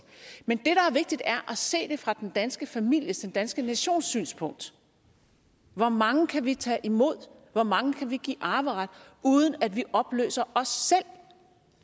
men vigtigt er at se det fra den danske families den danske nations synspunkt hvor mange kan vi tage imod hvor mange kan vi give arveret uden at vi opløser os selv